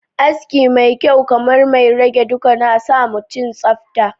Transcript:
aski mai kyau kamar mai rage duka nasamutum tsafta